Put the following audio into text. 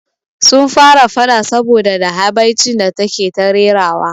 Sun fara faɗa saboda da habaicin da take ta rerawa